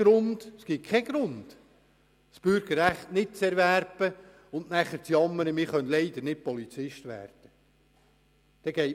Es gibt keinen Grund, das Bürgerrecht nicht zu erwerben und anschliessend zu jammern, nicht Polizist werden zu können.